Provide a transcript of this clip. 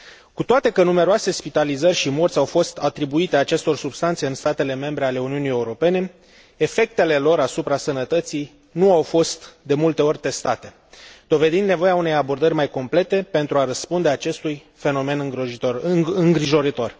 Cu toate că numeroase spitalizări și morți au fost atribuite acestor substanțe în statele membre ale Uniunii Europene, efectele lor asupra sănătății nu au fost de multe ori testate, dovedind nevoia unei abordări mai complete pentru a răspunde acestui fenomen îngrijorător.